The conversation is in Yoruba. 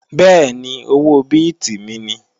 Bẹ́ẹ̀ni, owó bíìtì mi ni